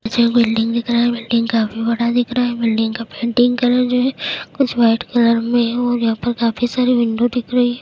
पीछे एक बिल्डिंग दिख रहा है। बिल्डिंग काफी बड़ी दिख रहा है। बिल्डिंग का पेंटिंग कलर जो है कुछ व्हाइट कलर में है और यहाँ पर काफी सारी विंडो दिख रही हैं।